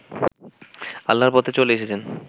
আল্লাহর পথে চলে এসেছেন